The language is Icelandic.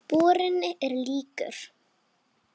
Borinn er líkur